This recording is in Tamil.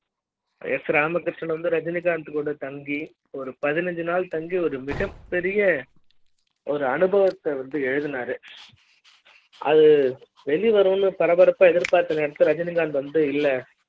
s ராமகிருஷ்ணன் வந்து ரஜினிகாந்த் கூட தங்கி பதினைந்து நாள் தங்கி ஒரு மிகப் பெரிய ஒரு அனுபவ த்த வந்து எழுதுனாரு அது வெளிவரும்னு பரபரப்பா எதிர்பார்த்த நேரத்தில ரஜினிகாந்த் வந்து இல்ல